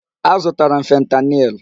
Azụtara m fentanyl.